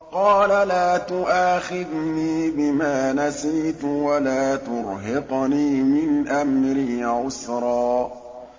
قَالَ لَا تُؤَاخِذْنِي بِمَا نَسِيتُ وَلَا تُرْهِقْنِي مِنْ أَمْرِي عُسْرًا